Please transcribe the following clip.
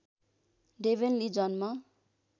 Devon Lee जन्म